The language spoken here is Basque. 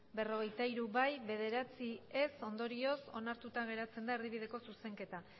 berrogeita hiru ez bederatzi ondorioz onartuta geratzen da erdibideko zuzenketa